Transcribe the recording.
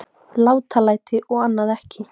Látalæti og annað ekki.